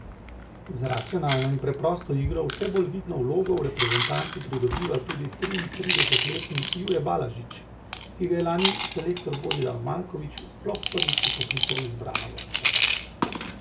Z racionalno in preprosto igro vse bolj vidno vlogo v reprezentanci pridobiva tudi triintridesetletni Jure Balažič, ki ga je lani selektor Božidar Maljković sploh prvič vpoklical v izbrano vrsto.